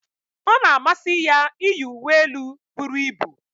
ọ na-amasị ya iyi uwe elu buru ibu